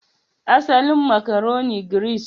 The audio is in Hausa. Asalin makaroni, Giris